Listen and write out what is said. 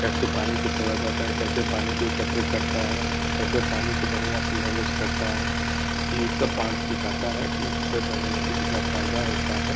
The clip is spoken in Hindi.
कैसे पानी को छोड़ा जाता है कैसे पानी को इकत्र करता है कैसे पानी को बढ़ियाँ से मैनेज करता है इ सब बांध सिखाता है कि कितना फ़ायदा होता है ।